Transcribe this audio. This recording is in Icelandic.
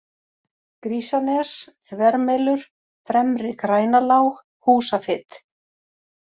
Grísanes, Þvermelur, Fremri-Grænalág, Húsafit